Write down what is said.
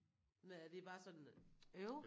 Men er det er bare sådan øv?